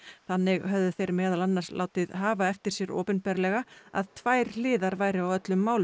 þannig höfðu þeir meðal annars látið hafa eftir sér opinberlega að tvær hliðar væru á öllum málum